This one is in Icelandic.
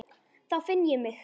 Þá finn ég mig.